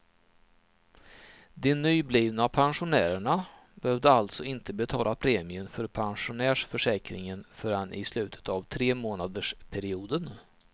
De nyblivna pensionärerna behövde alltså inte betala premien för pensionärsförsäkringen förrän i slutet av tremånadersperioden.